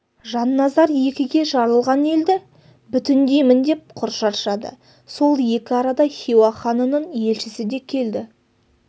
жанназар екіге жарылған елді бүтіндеймін деп құр шаршады сол екі арада хиуа ханының елшісі де келді